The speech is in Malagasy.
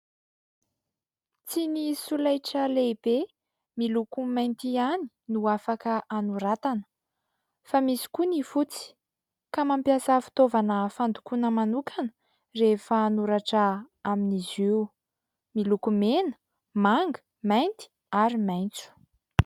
Tsy ny solaitra lehibe miloko mainty ihany no afaka anoratana. Fa misy koa ny fotsy ka mampiasavitaovana fandokoana manokana rehefa anoratra amin'izy io. Miloko mena, manga, mainty, ary maintso.